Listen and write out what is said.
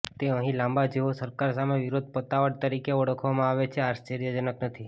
તે અહીં લાંબા જેઓ સરકાર સામે વિરોધ પતાવટ તરીકે ઓળખવામાં આવે છે આશ્ચર્યજનક નથી